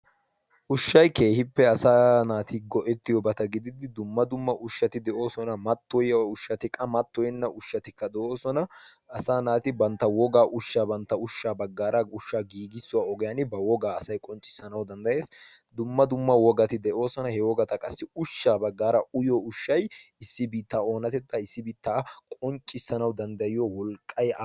ushshai keehippe asa naati go77ettiyo bata gididi dumma dumma ushshati de7oosona mattoyya ushshati qa mattoinna ushshatika de7oosona asa naati bantta woga ushshaa bantta ushshaa baggaara ushshaa giigissuwaa ogiyan ba wogaa asai qonccissanau danddayees dumma dumma wogati de7oosona he wogata qassi ushshaa baggaara uyyo ushshai issibi ta oonatettaa issibi ta qonccissanau danddayiyo wolqqai